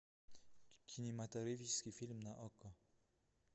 кинематографический фильм на окко